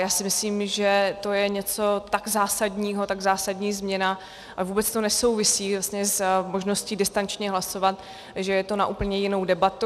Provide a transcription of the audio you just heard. Já si myslím, že to je něco tak zásadního, tak zásadní změna, a vůbec to nesouvisí s možností distančně hlasovat, že to je na úplně jinou debatu.